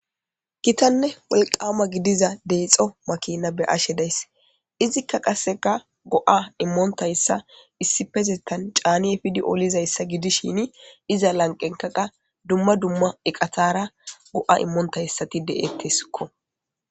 Kitanne wolqaama gidiza deexo makina be ashe days izikka qasseka go7a immoontayssa issipezettan caaniyefidi olizayssa gidishini iza lanqenkaqa dumma dumma eqatara go7a immontayssati de7ettesikko.